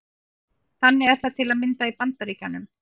Þannig er það til að mynda í Bandaríkjunum.